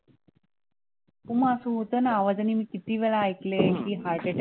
हो मग असं होतं ना, आवाजाने मी किती वेळा ऐकले की heart attack